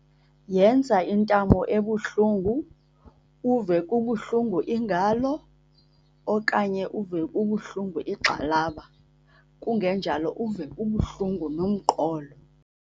Yenza intamo ebuhlungu, uve kubuhlungu ingalo okanye uve kubuhlungu igxalaba. Kungenjalo, uve kubuhlungu nomqolo.